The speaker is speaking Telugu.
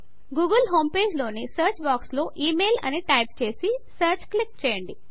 గూగుల్ హోమ్ పేజ్ లోని సర్చ్ బాక్స్ లో ఇమెయిల్ అని టైప్ చేసి జీటీజీటీ సర్చ్ క్లిక్ చేయండి